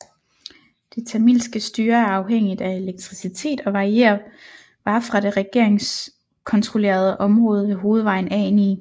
Det tamilske styre er afhængigt af elektricitet og varer fra det regeringskontrollerede område ved hovedvejen A9